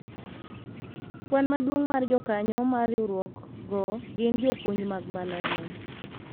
kwan maduong' mar jokanyo mar riwruok go gin jopuonj mag mbalariany